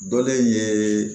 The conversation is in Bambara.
Dɔlen ye